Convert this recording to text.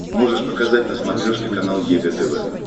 можешь показать на смотрешке канал егэ тв